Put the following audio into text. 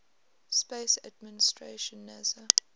space administration nasa